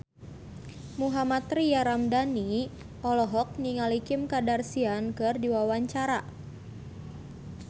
Mohammad Tria Ramadhani olohok ningali Kim Kardashian keur diwawancara